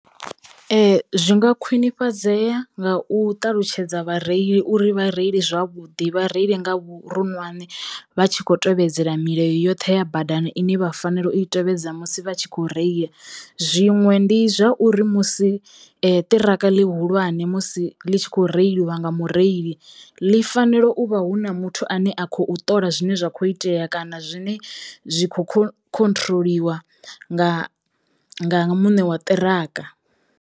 Zwi nga khwinifhadzeya nga u ṱalutshedza vhareili uri vha reile zwavhuḓi vha reile nga vhuronwane vha tshi kho tevhedzela milayo yoṱhe ya badani ine vha fanela u yi tevhedza musi vha tshi kho reila, zwiṅwe ndi zwauri musi ṱiraka ḽihulwane musi ḽi tshi kho reiliwa nga mureili ḽi fanelo u vha hu na muthu ane a khou ṱola zwine zwa kho itea kana zwine zwi kho khon khonthiroḽiwa nga nga nga muṋe wa ṱiraka.